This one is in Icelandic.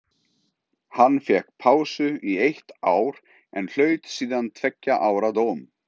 Hann fékk pásu í eitt ár en hlaut síðan tveggja ára dóm.